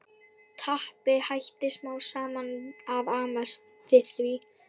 Tappi hætti smám saman að amast við því.